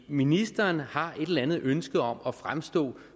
ministeren har et eller andet ønske om at fremstå